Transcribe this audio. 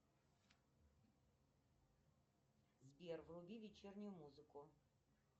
сбер вруби вечернюю музыку